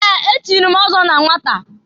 Ee! Echiri m ọzọ na nwata.